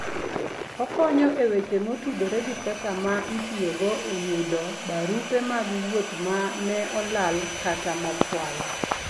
Okonyo e weche motudore gi pesa ma itiyogo e yudo barupe mag wuoth ma ne olal kata mokwal.